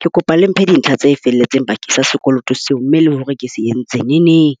Ke kopa le mphe dintlha tse felletseng bakeng sa sekoloto seo, mme le hore ke se entseng neneng.